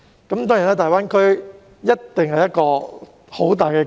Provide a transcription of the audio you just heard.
粵港澳大灣區一定是個龐大機遇。